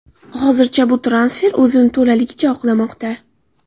Hozircha bu transfer o‘zini to‘laligicha oqlamoqda.